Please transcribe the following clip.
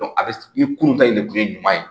a bɛ i kun ta in de kun ye ɲuman ye